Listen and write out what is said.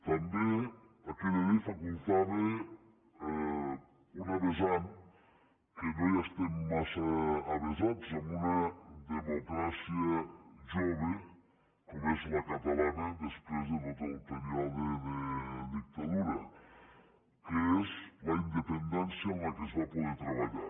també aquella llei facultava una vessant que no hi estem massa avesats en una democràcia jove com és la catalana després de tot el període de dictadura que és la independència amb què es va poder treballar